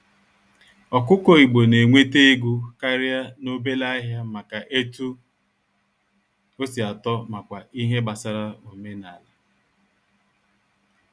Ọkụkọ igbo na-enwete ego karịa n'obele ahịa maka etu osi atọ makwa ihe gbasara omenala.